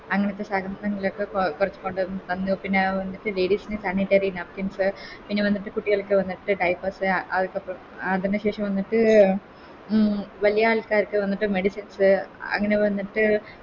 അങ്ങനത്തെ സാനത്തങ്ങളൊക്കെ കോ കൊണ്ടോന്ന് തന്നു പിന്ന അഹ് മറ്റേ Ladies ൻറെ Sanitary napkins പിന്നെ വന്നിട്ട് കുട്ടികൾക്ക് മറ്റേ Diapers അതൊക്കെ ആ അതിനുശേഷം വന്നിട്ട് ഉം വലിയ ആൾക്കാർക്ക് വന്നിട്ട് Medicines അങ്ങനെ വന്നിട്ട്